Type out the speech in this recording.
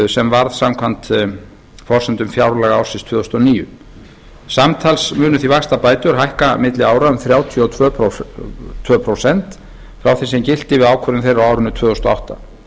sem varð samkvæmt forsendum fjárlaga ársins tvö þúsund og níu samtals munu því vaxtabætur hækka milli ára um þrjátíu og tvö prósent frá því sem gilti við ákvörðun þeirra á árinu tvö þúsund og átta